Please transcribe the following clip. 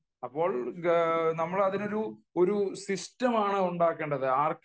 അപ്പോൾ നമ്മൾ അതിനു ഒരു സിസ്റ്റം ആണ് ഉണ്ടാക്കേണ്ടത്